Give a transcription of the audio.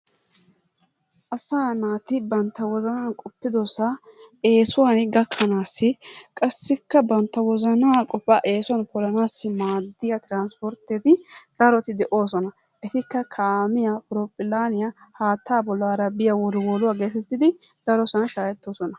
Asaa naati bantta wozanaan qoppiddossaa eesuwan gakkanaassi qassikka bantta wozanaa qofaa eesuwan polanaassi maadiya trspportteti daroti de'oosona, etikka kaamiya, horophilaaniya haattaa bollaara biya wolwoluwa getettidi darosan shaahettoosona.